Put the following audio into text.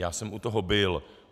Já jsem u toho byl.